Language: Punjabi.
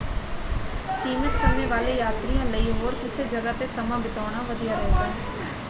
ਸੀਮਤ ਸਮੇਂ ਵਾਲੇ ਯਾਤਰੀਆਂ ਲਈ ਹੋਰ ਕਿਸੇੇ ਜਗ੍ਹਾ ‘ਤੇ ਸਮਾਂ ਬਿਤਾਉਣਾ ਵਧੀਆ ਰਹੇਗਾ।